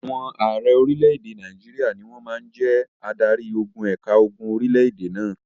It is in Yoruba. Àwọn ààrẹ orílẹ̀-èdè Nàìjíríà ni wọ́n máa ń jẹ́ adarí-ogun ẹ̀ka ogun orílẹ̀-èdè náà.